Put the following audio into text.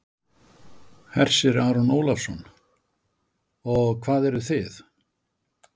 Hersir Aron Ólafsson: Og hvað eruð þið?